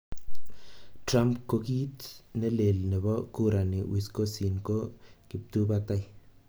Trump:Kokiit nelel nebo kurani Wisconsin ko kiptubatai.